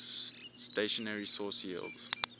stationary source yields